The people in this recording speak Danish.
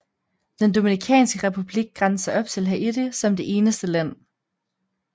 Den Dominikanske Republik grænser op til Haiti som det eneste land